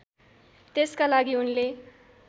त्यसका लागि उनले